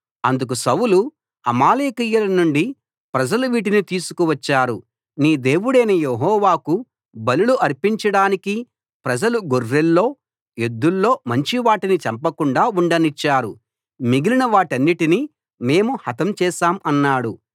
అందుకు సౌలు అమాలేకీయుల నుండి ప్రజలు వీటిని తీసుకువచ్చారు నీ దేవుడైన యెహోవాకు బలులు అర్పించడానికి ప్రజలు గొర్రెల్లో ఎద్దుల్లో మంచివాటిని చంపకుండా ఉండనిచ్చారు మిగిలిన వాటన్నిటినీ మేము హతం చేశాం అన్నాడు